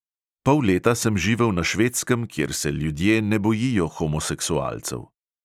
Pol leta sem živel na švedskem, kjer se ljudje ne bojijo homoseksualcev.